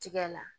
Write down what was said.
Tigɛ la